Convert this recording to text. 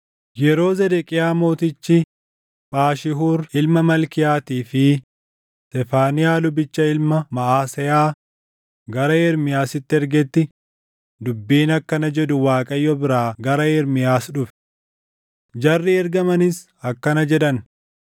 Yeroo Zedeqiyaa Mootichi Phaashihuur ilma Malkiyaatii fi Sefaaniyaa lubicha ilma Maʼaseyaa gara Ermiyaasitti ergetti dubbiin akkana jedhu Waaqayyo biraa gara Ermiyaas dhufe. Jarri ergamanis akkana jedhan;